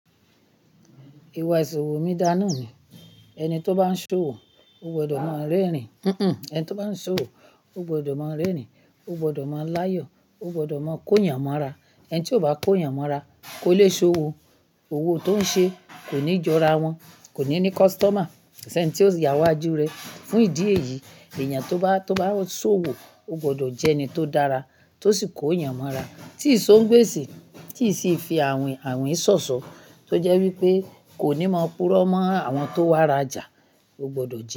Ìwà ìṣòwò mìdánà ni. Ẹni tí ó bá ń ṣòwò, ó gbọdọ̀ máa rẹ́rìn, ó gbọdọ̀ máa láyọ̀, ó gbọdọ̀ máa kó yànmọ́ra. Ẹni tí ò bá kó yànmọ́ra kò lè ṣòwò. Owó tó ń ṣe kò ní jọra wọn, kò ní ní customer. Ko ṣéńi tí ó sì ya wájú rẹ, fún ìdí èyí, èèyàn tó bá, tó bá ṣòwò, ó gbọdọ̀ jẹ́ ẹni tó dára, tó sì kó yànmọ́ra, tí ìṣó ń gbèsì, tí ì ṣe fi àwìn àwìn ṣọ̀ṣọ́, tó jẹ́ wípé kò ní máa purọ́ mọ́ àwọn tó wà rajà, ó gbọdọ̀ jẹ́